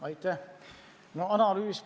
Aitäh!